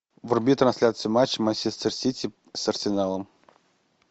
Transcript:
вруби трансляцию матча манчестер сити с арсеналом